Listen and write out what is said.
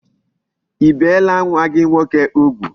I biela nwa gi nwoke ugwu?